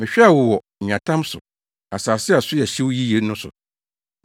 Mehwɛɛ wo wɔ nweatam so, asase a so yɛ hyew yiye no so.